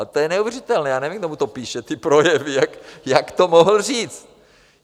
A to je neuvěřitelné, já nevím, kdo mu to píše, ty projevy, jak to mohl říct.